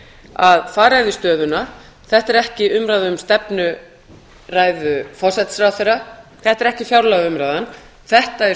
að fara yfir stöðuna þetta er ekki umræða um stefnuræðu forsætisráðherra þetta er ekki fjárlagaumræðan þetta er